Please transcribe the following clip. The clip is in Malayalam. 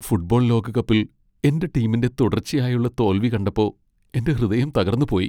ഫുട്ബോൾ ലോകകപ്പിൽ എന്റെ ടീമിന്റെ തുടർച്ചയായുള്ള തോൽവി കണ്ടപ്പോ എന്റെ ഹൃദയം തകർന്നുപോയി .